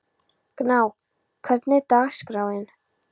Gná, hvernig er dagskráin?